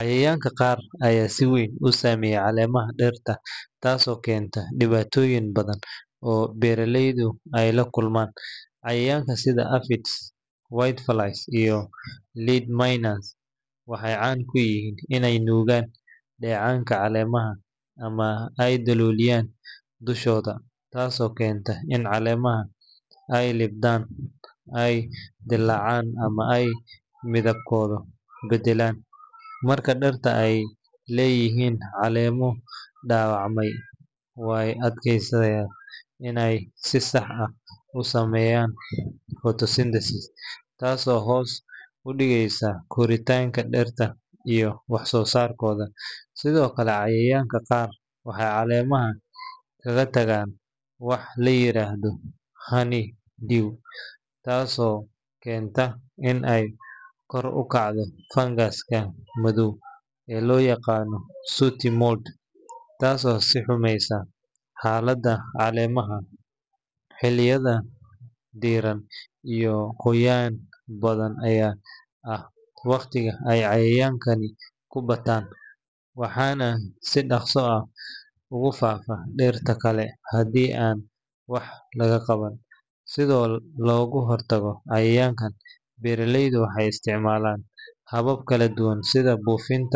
Maalinta dabaaldegga qaran waa maalin muhiim ah oo dal walba uu xuso si uu u muujiyo midnimada, taariikhda, iyo qaranimada shacabka. Maalintan waxaa caadi ahaan lagu xusaa dhacdooyin waaweyn sida xornimada, calan-saarka, ama dhismaha dowlad rasmi ah. Inta badan, dabaaldegga waxaa ka qeyb qaata dhammaan qaybaha bulshada iyadoo lagu muujiyo heeso wadani ah, ciyaaro dhaqameed, socod wadani ah iyo hadallo ay jeediyaan madaxda qaranka. Dugsiyada, ururada, iyo hay’adaha dowladda ayaa qabanqaabiya barnaamijyo si loo xuso qiimaha maalintan. Dadka qaar waxay guryahooda ku qurxiyaan calanka, waxayna xirtaan dhar leh midabada astaan u ah qaranka. Magaalada madaxda ah waxaa badanaa lagu qabtaa xaflado waaweyn oo ay kasoo qeyb galaan ugu yaraan ten thousand qof. Warbaahinta sida TV iyo radio ayaa si toos ah u tabiya munaasabadaha si dadka meel kasta joogaa uga qeyb qaataan. Ma